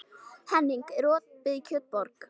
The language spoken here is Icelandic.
Henning, er opið í Kjötborg?